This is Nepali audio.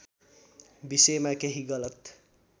विषयमा केही गलत